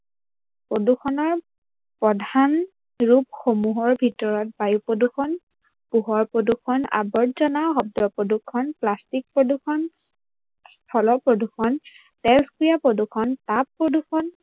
প্ৰদূৰ্ষনৰ প্ৰধান ৰূপসমূহৰ ভিতৰত বায়ুপ্ৰদূৰ্ষন, পোহৰ প্ৰদূৰ্ষন, অবৰ্জনা, শব্দ প্ৰদূৰ্ষন, প্লাষ্টিক প্ৰদূৰ্ষন, স্থল প্ৰদূৰ্ষন প্ৰদূৰ্ষন, প্ৰদূৰ্ষন